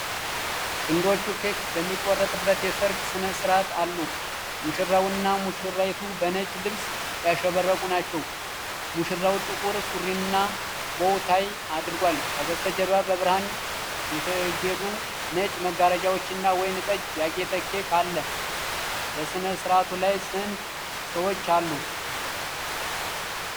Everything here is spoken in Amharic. ጥንዶቹ ኬክ በሚቆርጡበት የሠርግ ሥነ ሥርዓት አሉ። ሙሽራውና ሙሽራይቱ በነጭ ልብስ ያሸበረቁ ናቸው። ሙሽራው ጥቁር ሱሪና ቦው ታይ አድርጓል። ከበስተጀርባ በብርሃን የተጌጡ ነጭ መጋረጃዎችና ወይን ጠጅ ያጌጠ ኬክ አለ። በስነስርዓቱ ላይ ስንት ሰዎች አሉ?